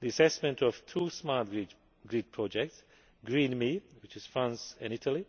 The assessment of two Smart Grid projects, Green Me, which is France and Italy,